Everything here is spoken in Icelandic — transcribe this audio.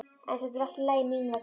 En þetta er allt í lagi mín vegna.